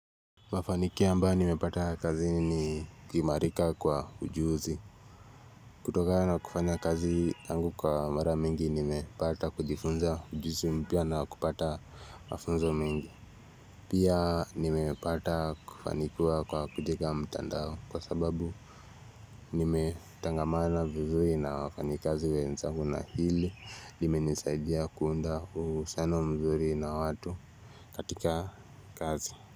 Mafanikio ambayo nimepata kazini ni kuimarika kwa ujuzi. Kutoka na kufanya kazi yangu kwa mara mingi nimepata kujifunza ujuzi mpya na kupata wafunzo mengi. Pia nimepata kufanikiwa kwa kujega mtandaoni kwa sababu nimetangamana vizuri na wafanikazi wenzangu na hili limenisaidia kuunda uhusiano mzuri na watu katika kazi.